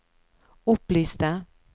opplyste